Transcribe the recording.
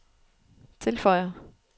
tilføjer